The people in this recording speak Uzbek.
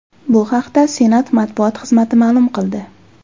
Bu haqda Senat matbuot xizmati ma’lum qildi.